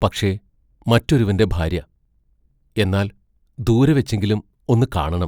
പക്ഷേ, മറ്റൊരുവന്റെ ഭാര്യ എന്നാൽ, ദൂരെവെച്ചെങ്കിലും ഒന്ന് കാണണം.